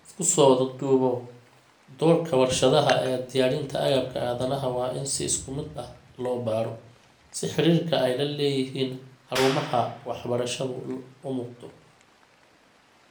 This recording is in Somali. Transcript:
Isku soo wada duuboo, doorka warshadaha ee diyaarinta agabka aadanaha waa in si isku mid ah loo baaro, si xiriirka ay la leeyihiin xarumaha waxbarashadu u muuqdo.